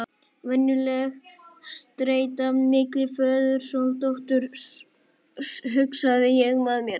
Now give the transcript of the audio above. Venjuleg streita milli föður og dóttur, hugsaði ég með mér.